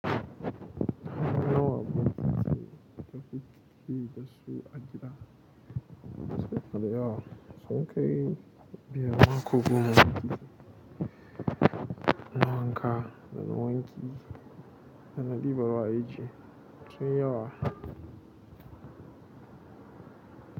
Suna da yawa sun kai yama, ko goma na wanka da na wanki sannan dibarwa ake sunyi yawa.